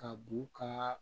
Ka b'u ka